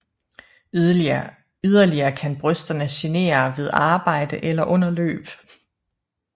Yderlige kan brysterne genere ved arbejde eller under løb